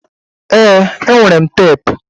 Ee, enwere m teepu